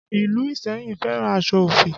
Ìlú Iseyin fẹ́ràn aṣọ ofi